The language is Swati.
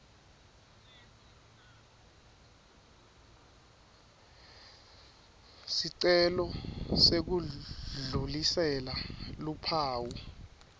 sicelo sekudlulisela luphawu